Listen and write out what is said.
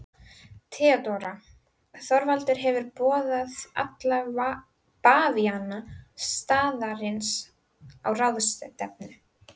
THEODÓRA: Þorvaldur hefur boðað alla bavíana staðarins á ráðstefnu.